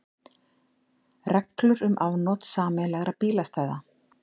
Reglur um afnot sameiginlegra bílastæða.